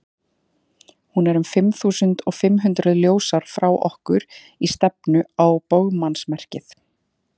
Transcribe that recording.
hún er um fimm þúsund fimm hundruð ljósár frá okkur í stefnu á bogmannsmerkið